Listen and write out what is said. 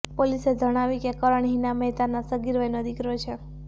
પોલીસે જણાવ્યું કે કરણ હિના મહેતાનો સગીર વયનો દિકરો છે